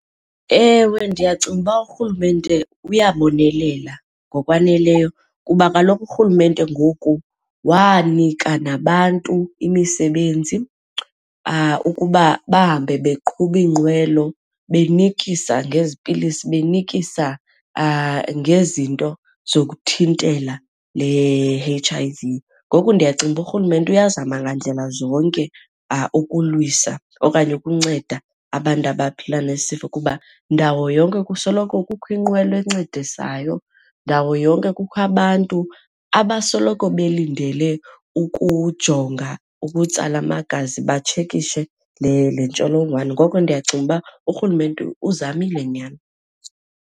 Ewe, ndiyacinga uba urhulumente uyabonelela ngokwaneleyo kuba kaloku urhulumente ngoku wanika nabantu imisebenzi ukuba bahambe beqhuba iinqwelo benikisa ngezi pilisi, benikisa ngezinto zokuthintela le H_I_V. Ngoku ndiyacinga uba urhulumente uyazama ngandlela zonke ukulwisa okanye ukunceda abantu abaphila nesifo kuba ndawo yonke kusoloko kukho inqwelo encedisayo, ndawo yonke kukho abantu abasoloko belindele ukujonga ukutsala amagazi batshekishe le, le ntsholongwane. Ngoko ndiyacinga uba urhulumente uzamile nyhani.